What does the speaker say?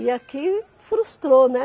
E aqui, frustrou, né?